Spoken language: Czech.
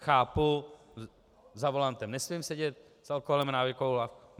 Chápu, za volantem nesmím sedět s alkoholem a návykovou látkou.